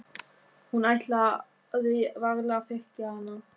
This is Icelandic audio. Hún ætlaði varla að þekkja hana.